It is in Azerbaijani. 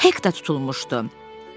Hek də tutulmuşdu.